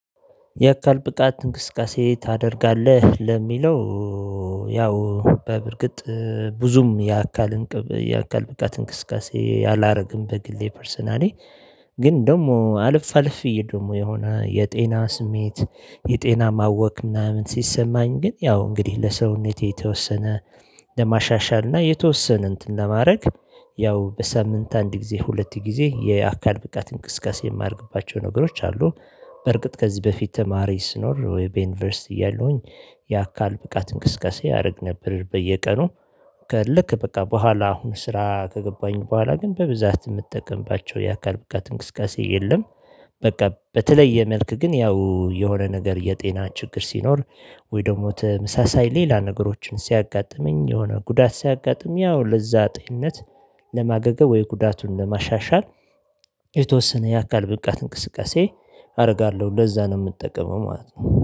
የአካል ብቃት እንቅስቃሴ ታደርጋለህ ለሚለው? ያው በእርግጥ ብዙም ያካልን ያካልብቃት እንቅስቃሴ ያላደረግን በግሌ ፐርሰናሊ። ግን ደግሞ አለፋአለፍ ብዬ ደግሞ የሆነ የጤና ስሜት የጤና ማወክ ምናምን ሲሰማኝ። ግን ያው እንግዲህ ለሰውነቴ የተወሰነ ለማሻሻል እና የተወሰነ እንትን ለማድረግ ያው በሳምንት አንድ ጊዜ ሁለት ጊዜ የአካድ ብቃት እንቅስቃሴ የማድርግባቸው ነገሮች አሉ። በርግጥ ከዚህ በፊት ተማሪ ስኖር ወይ በዩኒቨርሲቲ ያለውኝ የአካል ብቃት እንቅስቃሴ አደርግ ነበር በየቀኑ። ከልክ በቃ በኋላ አሁን ስራ ከገባኝ በኋላ ግን በብዛት የምትጠቀምባቸው የአካል ብቃት እንቅስቃሴ የለም። በቃ በተለየ መልክ ግን ያው የሆነ ነገር የጤና ችግር ሲኖር ወይ ደግሞ ተመሳሳይ ሌላ ነገሮችን ሲያጋጥመኝ የሆነ ጉዳት ሲያጋጥም ያው ለዛ ጤንነት ለማገገም ወይ ጉዳቱን ለማሻሻል። የተወሰነ የአካል ብቃት እንቅስቃሴ አደርጋለው ለዛ ነው የምጠቀመው ማለት ነው